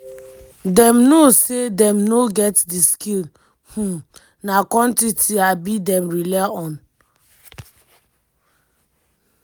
dem know say dem no get di skill um na quantity um dem rely on."